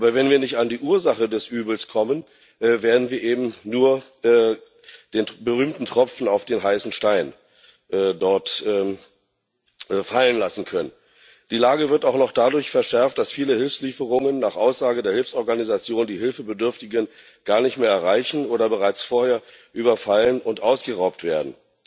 Aber wenn wir nicht an die Ursache des Übels kommen, werden wir eben nur den berühmten Tropfen auf den heißen Stein dort fallen lassen können. Die Lage wird auch noch dadurch verschärft, dass viele Hilfslieferungen nach Aussage der Hilfsorganisationen die Hilfsbedürftigen gar nicht mehr erreichen oder bereits vorher überfallen und ausgeraubt werden.